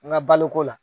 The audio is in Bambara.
N ka baloko la